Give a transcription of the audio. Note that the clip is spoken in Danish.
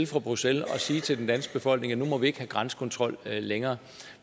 fra bruxelles og sige til den danske befolkning at nu må vi ikke have grænsekontrol længere